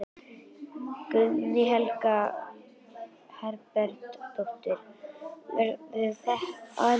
Guðný Helga Herbertsdóttir: Verður það á ensku?